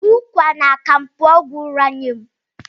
Ụkwa na akamu bụ ọgwụ ụra nye m